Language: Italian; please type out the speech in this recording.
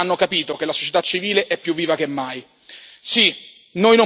Vuol dire che tanti cittadini hanno capito che la società civile è più viva che mai.